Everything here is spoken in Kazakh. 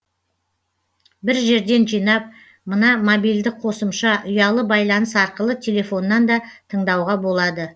бір жерден жинап мына мобильді қосымша ұялы байланыс арқылы телефоннан да тыңдауға болады